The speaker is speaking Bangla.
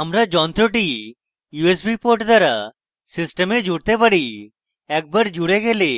আমরা যন্ত্রটি usb port দ্বারা system জুড়তে পারি একবার জুড়ে গেলে